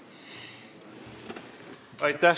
Aitäh!